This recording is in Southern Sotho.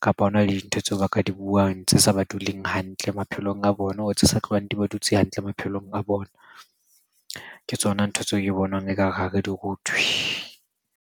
kapa ho na le dintho tseo ba ka di buang tse sa ba duleng hantle maphelong a bona. Tse sa tlohang di ba dutse hantle maphelong a bona, Ke tsona ntho tseo ke bonang ekare ha re di rutwe.